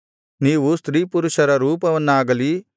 ನೀವು ಸ್ತ್ರೀಪುರುಷರ ರೂಪವನ್ನಾಗಲಿ